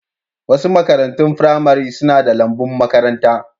Wasu makarantun firamare suna da lambun makaranta.